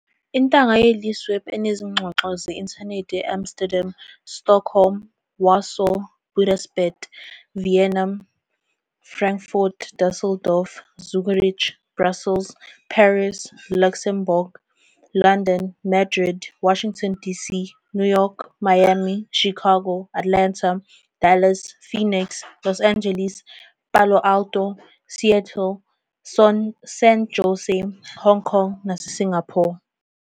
Intanga yeLeaseweb enezingxoxo ze-Intanethi e- Amsterdam, Stockholm, Warsaw, Budapest, Vienna, Frankfurt, Dusseldorf, Zurich, Brussels, Paris, Luxembourg, London, Madrid, Washington DC, New York, Miami, Chicago, Atlanta, Dallas, Phoenix, Los Angeles, Palo Alto, Seattle, San Jose, Hong Kong naseSingapore.